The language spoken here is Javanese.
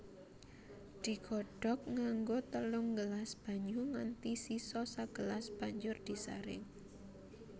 Digodhog nganggo telung gelas banyu nganti sisa sagelas banjur disaring